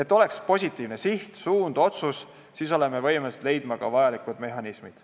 Kui on positiivne siht, suund ja otsus, siis me oleme võimelised leidma ka vajalikud mehhanismid.